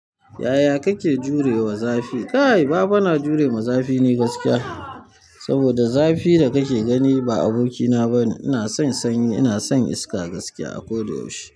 Yaya kake jure wa zafi? Kai! Ba fa na jure ma zafi ni gaskiya. Saboda zafi da kake gani ba abokina bane. Ina son sanyi, ina son iska gaskiya a koda yaushe.